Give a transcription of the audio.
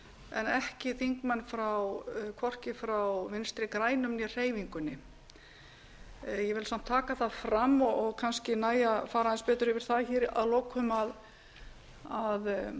en hvorki þingmenn frá vinstri grænum né hreyfingunni ég vil samt taka það fram og kannski nægir að fara aðeins betur yfir það að lokum að